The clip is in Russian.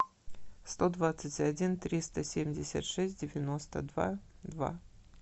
сто двадцать один триста семьдесят шесть девяносто два два